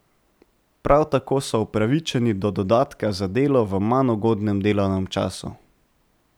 Prav tako so upravičeni do dodatka za delo v manj ugodnem delovnem času.